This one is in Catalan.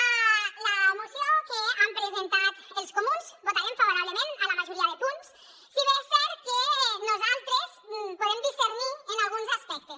a la moció que han presentat els comuns votarem favorablement a la majoria de punts si bé és cert que nosaltres podem discrepar en alguns aspectes